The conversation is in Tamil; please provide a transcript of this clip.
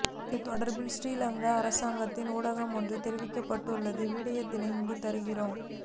இதுதொடர்பில் ஸ்ரீலங்கா அரசாங்கத்தின் ஊடகம் ஒன்றில் தெரிவிக்கப்பட்டுள்ள விடயத்தினை இங்கு தருகிறோம்